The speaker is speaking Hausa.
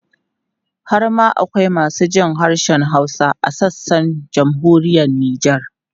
Har ma akwai masu jin harshen Hausa a sassan Jamhuriyar Nijar.